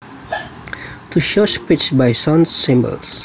To show speech by sound symbols